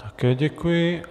Také děkuji.